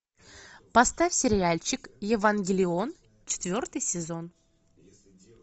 поставь сериальчик евангелион четвертый сезон